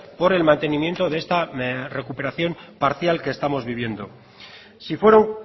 por el mantenimiento de esta recuperación parcial que estamos viviendo si fueron